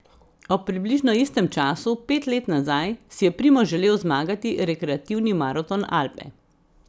Ob približno istem času, pet let nazaj, si je Primož želel zmagati rekreativni Maraton Alpe.